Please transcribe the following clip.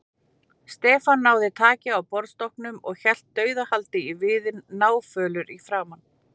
Stefán náði taki á borðstokknum og hélt dauðahaldi í viðinn, náfölur í framan.